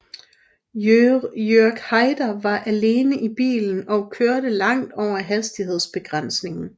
Jörg Haider var alene i bilen og kørte langt over hastighedsbegrænsningen